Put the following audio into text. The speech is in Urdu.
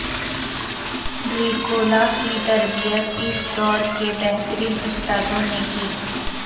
ڈریکولا کی تربیت اس دور کے بہترین استادوں نے کی